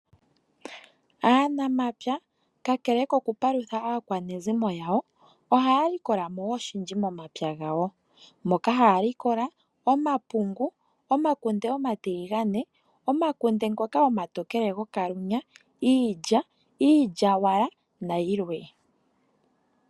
Aanamapya kakele oku paludha aakeanezimo lyawo , ohaya likola mo oshindji momapya gawo moka haalikola omapungu , omakunde omatiligane ,omakunde omatookele gokalunya, iilya, iilyawala nayilwe.